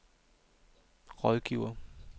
rådgiver